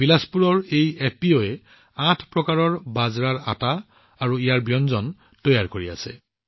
বিলাসপুৰৰ এই এফপিঅয়ে ৮ প্ৰকাৰৰ বাজৰাৰ আটা আৰু সেইবোৰৰ ব্যঞ্জন প্ৰস্তুত কৰি আছে